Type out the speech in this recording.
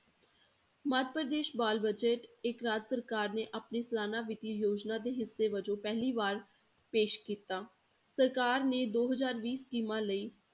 ਮੱਧ ਪ੍ਰਦੇਸ਼ ਬਾਲ budget ਇੱਕ ਰਾਜ ਸਰਕਾਰ ਨੇ ਆਪਣੀ ਸਲਾਨਾ ਵਿੱਤੀ ਯੋਜਨਾ ਦੇ ਹਿੱਸੇ ਵਜੋਂ ਪਹਿਲੀ ਵਾਰ ਪੇਸ਼ ਕੀਤਾ, ਸਰਕਾਰ ਨੇ ਦੋ ਹਜ਼ਾਰ ਵੀਹ ਸਕੀਮਾਂ ਲਈ